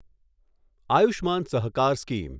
Ayushman Sahakar scheme